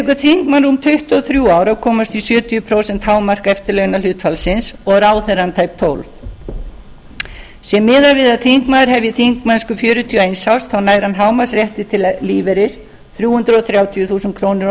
tekur þingmann rúm tuttugu og þrjú ár að komast í sjötíu prósent hámark eftirlaunahlutfallsins og ráðherrann tæp tólf ár sé miðað við að þingmaður hefji þingmennsku fjörutíu og eins árs þá nær hann hámarksrétti til lífeyris þrjú hundruð þrjátíu þúsund krónur á